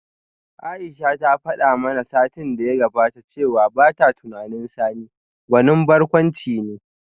Aisha ta fada mana satin da ya gabata cewa bata tunanin Sani gwanin barkwanci ne